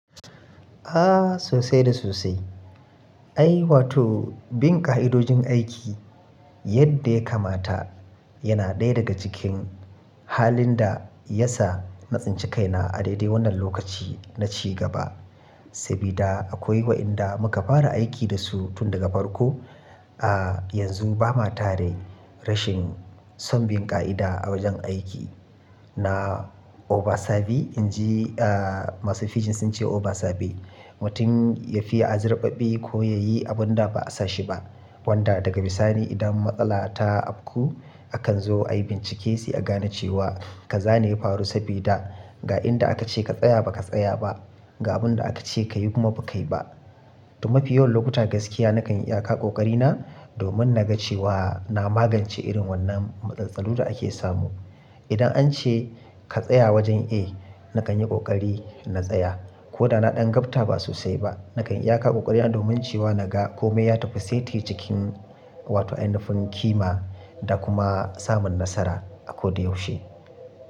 Ah sosai da sosai. Ai wato bin ƙa'idojin aiki yadda ya kamata yana ɗaya daga cikin halin da ya sa na tsinci kaina a daidai wannan lokaci na ci gaba. Sabida akwai wa'inda muka fara aiki da su tun daga farko. Ah yanzu ba ma tare rashin son bin ƙa'ida a wajen aiki. Na Obasabi in ji ah masu fijin sun ce Obasabe. Mutum ya fiiya a zarbaɓɓi ko ya yi abun da ba a sashi ba. Wanda daga bisani idan matsala ta abku akan zo ayi bincike sai a gane cewa ka zane faru sabida ga inda aka ce ka tsaya ba ka tsaya ba, ga abun da aka ce ka yi kuma ba ka yi ba. To mafi yawan lokuta gaskiya nakan iya kaƙa ƙoƙari na domin na ga cewa na magance irin wannan matsaloli da ake samu. Idan an ce ka tsaya wajen a nakan yi ƙoƙari na tsaya ko da na ɗan gabta ba sosai ba. Nakan iya kaƙa ƙoƙari na domin cewa na ga kome ya tafi saiti cikin wato anufin kima da kuma samun nasara a ko da yaushe.